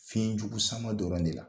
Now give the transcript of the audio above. Fiɲɛjugu sama dɔrɔn de la.